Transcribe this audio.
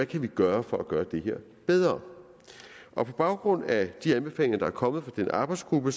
kan gøre for at gøre det her bedre på baggrund af de anbefalinger der er kommet fra den arbejdsgruppe